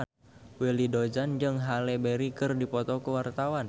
Willy Dozan jeung Halle Berry keur dipoto ku wartawan